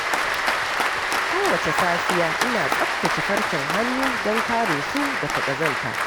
Kowace safiya, ina tsabtace farcen hannu don kare su daga ƙazanta.